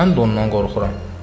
Mən də ondan qorxuram.